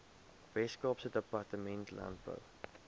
weskaapse departement landbou